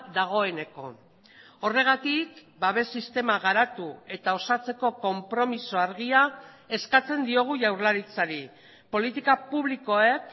dagoeneko horregatik babes sistema garatu eta osatzeko konpromiso argia eskatzen diogu jaurlaritzari politika publikoek